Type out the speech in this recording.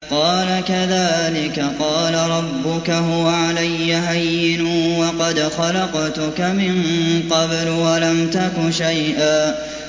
قَالَ كَذَٰلِكَ قَالَ رَبُّكَ هُوَ عَلَيَّ هَيِّنٌ وَقَدْ خَلَقْتُكَ مِن قَبْلُ وَلَمْ تَكُ شَيْئًا